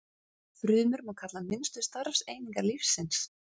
Frumur má kalla minnstu starfseiningar lífsins.